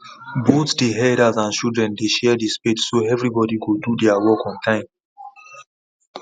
both the elders and children dey share the spade so everybody go do there work on time